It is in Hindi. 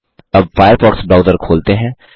अब फ़ायरफ़ॉक्स ब्राउजर खोलते हैं